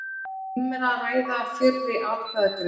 Um er að ræða fyrri atkvæðagreiðslu